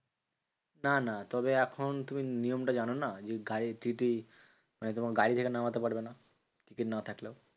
না না তবে এখন তুমি নিয়ম টা জানোনা? যে গাড়ির TTE মানে তোমাকে গাড়ি থেকে নামাতে পারবে না, টিকিট না থাকলেও।